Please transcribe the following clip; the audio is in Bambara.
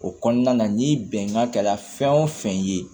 O kɔnɔna na ni bɛnkan kɛra fɛn o fɛn ye